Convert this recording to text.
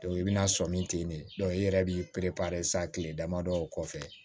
i bɛna sɔmi ten de i yɛrɛ b'i sisan kile damadɔ o kɔfɛ